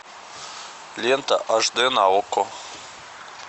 лента аш д на окко